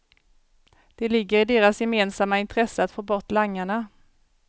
Det ligger i deras gemensamma intresse att få bort langarna.